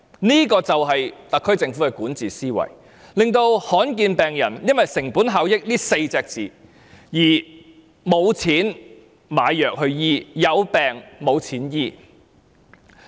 這個就是特區政府的管治思維，令罕見疾病患者因為"成本效益"這4個字，而沒有錢買藥物醫治。